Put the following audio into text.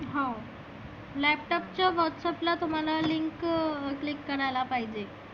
हाव. laptop चं whatsapp ला तुम्हाला link click करायला पाहीजे.